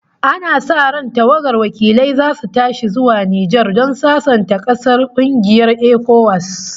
Ana sa ran tawagar wakilai zasu tashi zuwa Nijar don sasanta ƙasar da kungiyar ECOWAS